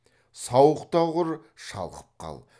сауық та құр шалқып қал